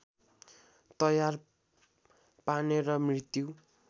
तयार पार्ने र मृत्यु